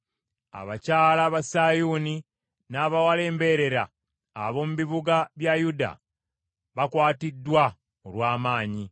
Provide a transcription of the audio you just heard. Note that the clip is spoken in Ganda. Abakyala ba Sayuuni, n’abawala embeerera ab’omu bibuga bya Yuda bakwatiddwa olw’amaanyi.